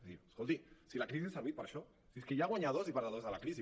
és a dir escolti si la crisi ha servit per a això si és que hi ha guanyadors i perdedors de la crisi